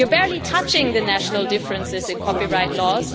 You are barely touching the national differences in copyright laws.